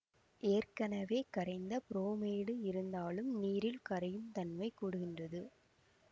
ஏற்கனவே கரைந்த புரோமைடு இருந்தாலும் நீரில் கரையும் தன்மை கூடுகின்றது